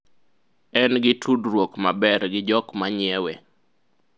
en gi tudruok maber gi jok manyiewe